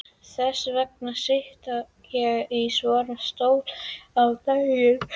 Þess vegna sit ég í svona stól á daginn.